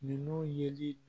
Ninnu yeli